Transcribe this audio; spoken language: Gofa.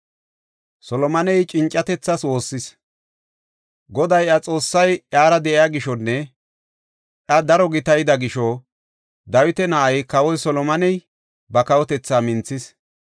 Goday iya Xoossay iyara de7iya gishonne iya daro gitayida gisho Dawita na7ay Kawoy Solomoney ba kawotethaa minthis.